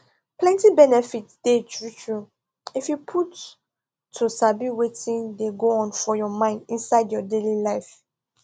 plenty benefit dey truetrue if you put to sabi wetin dey go on for your mind inside your daily life